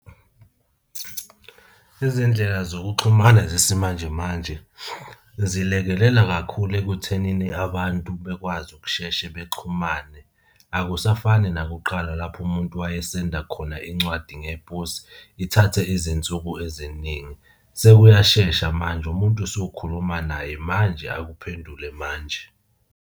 Izindlela zokuxhumana zesimanje manje zilekelela kakhulu ekuthenini abantu bekwazi ukusheshe bexhumane, akusafani nakuqala lapho umuntu wayesenda khona incwadi ngeposi ithathe izinsuku eziningi. Sekuyashesha manje, umuntu usukhuluma naye manje akuphendule manje.